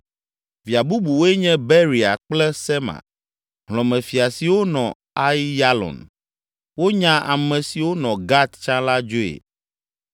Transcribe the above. Via bubuwoe nye Beria kple Sema, hlɔ̃mefia siwo nɔ Aiyalon; wonya ame siwo nɔ Gat tsã la dzoe.